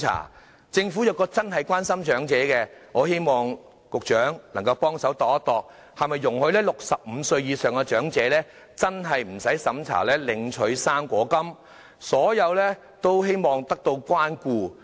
如果政府真的關心長者，我希望局長能夠考慮容許65歲以上的長者無須資產審查領取"生果金"，令所有長者也得到關顧。